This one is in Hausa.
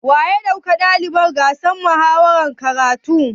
Wa ya kai ɗalibai gasar muhawarar makarantu?